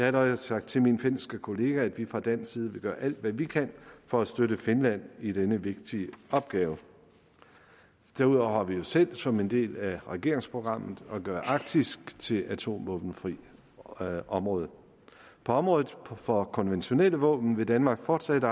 allerede sagt til min finske kollega at vi fra dansk side vil gøre alt hvad vi kan for at støtte finland i denne vigtige opgave derudover har vi jo selv som en del af regeringsprogrammet at gøre arktis til atomvåbenfrit område på området for konventionelle våben vil danmark fortsat